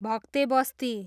भक्ते बस्ती